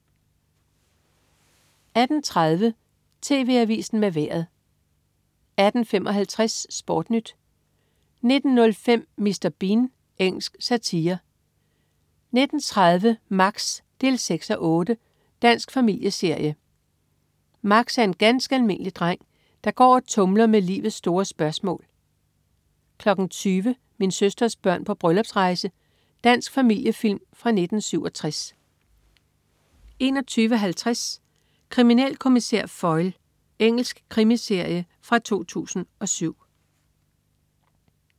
18.30 TV AVISEN med Vejret 18.55 SportNyt 19.05 Mr. Bean. Engelsk satire 19.30 Max 6:8. Dansk familieserie. Max er en ganske almindelig dreng, der går og tumler med livets store spørgsmål 20.00 Min søsters børn på bryllupsrejse. Dansk familiefilm fra 1967 21.50 Kriminalkommissær Foyle. Engelsk krimiserie fra 2007